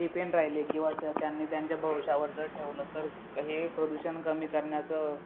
depend राहिले किंवा त्या त्यांनी त्यांच्या भविष्यावर जर ठेवलं तर हे प्रदूषण कमी करण्याचे